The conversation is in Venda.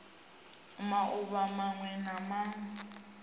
mauvha mawe na mawe o